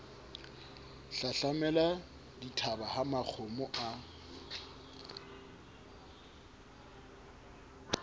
hlahlamela dithaba ha makgomo a